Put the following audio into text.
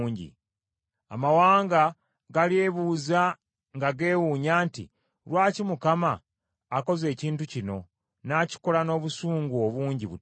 Amawanga galyebuuza nga geewunya nti, “Lwaki Mukama akoze ekintu kino, n’akikola n’obusungu obungi butyo?”